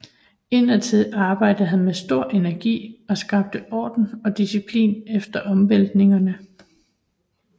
Indadtil arbejdede han med stor energi og skabte orden og disciplin efter omvæltningerne